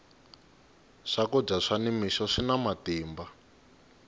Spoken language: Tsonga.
swakudya swa ni mixo swina matimba